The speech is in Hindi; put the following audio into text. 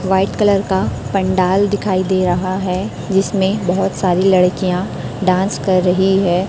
व्हाइट कलर का पंडाल दिखाई दे रहा है जिसमें बहोत सारी लड़कियां डांस कर रही है।